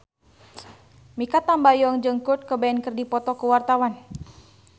Mikha Tambayong jeung Kurt Cobain keur dipoto ku wartawan